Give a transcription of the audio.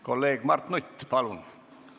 Kolleeg Mart Nutt, palun!